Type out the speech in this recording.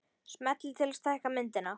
Smellið til að stækka myndina